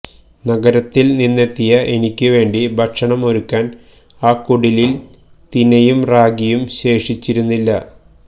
നഗരത്തില് നിന്നെത്തിയ എനിക്കുവേണ്ടി ഭക്ഷണം ഒരുക്കാന് ആ കുടിലില് തിനയും റാഗിയും ശേഷിച്ചിരുന്നില്ല